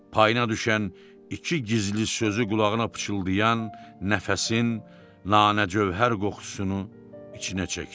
Payına düşən iki gizli sözü qulağına pıçıldayan nəfəsin nanə cövhər qoxusunu içinə çəkdi.